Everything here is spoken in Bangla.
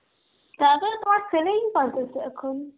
তাতে তোমার training purpose এ এখন.